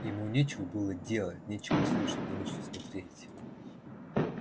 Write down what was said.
ему нечего было делать нечего слушать не на что смотреть